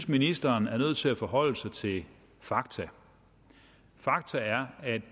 ministeren er nødt til at forholde sig til fakta fakta er at